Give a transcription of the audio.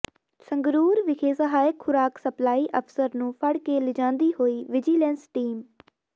ਸੰਗਰੂਰ ਵਿਖੇ ਸਹਾਇਕ ਖੁਰਾਕ ਸਪਲਾਈ ਅਫ਼ਸਰ ਨੂੰ ਫੜ ਕੇ ਲਿਜਾਂਦੀ ਹੋਈ ਵਿਜੀਲੈਂਸ ਟੀਮ